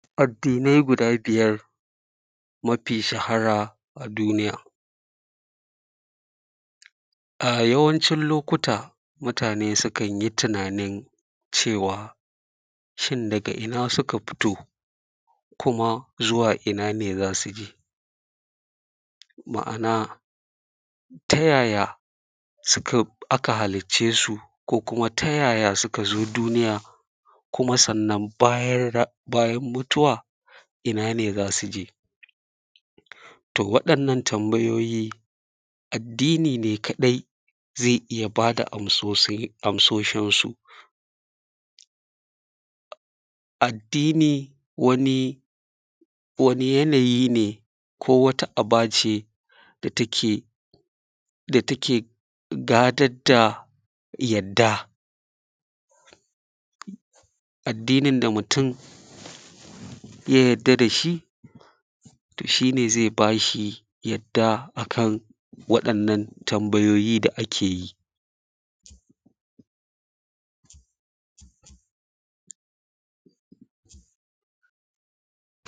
Addini guda biyar mafi shahara a duniya a yawancin lokuta mutane sukan yi tunanin cewa shin daga ina suka fito kuma zuwa ina ne za su je ma`ana ta yaya suka aka halitce su ko kuma ta yaya suka zo dunuya, kuma sannan bayan rai bayan mutuwa ina za su je, to waɗannan tambayoyi addini ne kaɗai zai iya ba da amsoshi amsoshinsu addini wani wani yanayi ne ko wata aba ce da take da take gatat da yadda addinin da mutum ya yarda da shi shi ne zai bas hi yarda a kan waɗannan tambayoyi da ake yi.